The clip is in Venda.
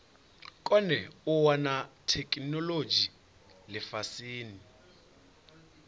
kone u wana theikinolodzhi lifhasini